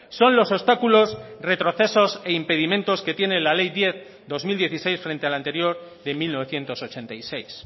son los obstáculos retrocesos e impedimentos que tiene la ley diez barra dos mil dieciséis frente a la anterior de mil novecientos ochenta y seis